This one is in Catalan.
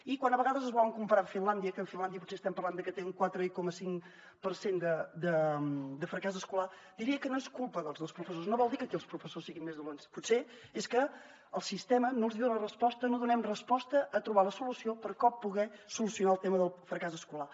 i quan a vegades es volen comparar amb finlàndia que finlàndia potser estem parlant de que té un quatre coma cinc per cent de fracàs escolar diria que no és culpa dels professors no vol dir que aquí els professors siguin més dolents potser és que el sistema no els hi dona resposta no donem resposta a trobar la solució per com poder solucionar el tema del fracàs escolar